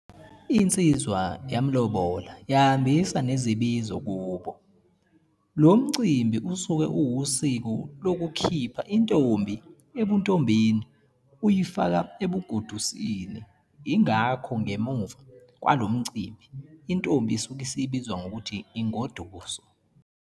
insizwa yamlobola yahambisa nezibizo kubo. lo mcimbi usuke uwusiko lokukhipha intombi ebuntombini uyifaka ebugodusini ingakho ngemuva kwalomcimbi intombi isuke isibizwa ngokuthi ingoduso.